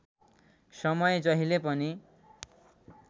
समय जहिले पनि